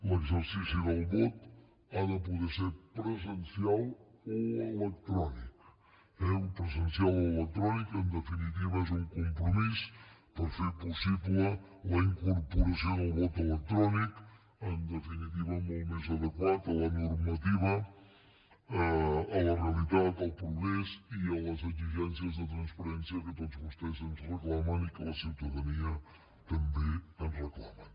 l’exercici del vot ha de poder ser presencial o electrònic eh o presencial o electrònic en definitiva és un compromís per fer possible la incorporació del vot electrònic en definitiva molt més adequat a la normativa a la realitat al progrés i a les exigències de transparència que tots vostès ens reclamen i que la ciutadania també ens reclama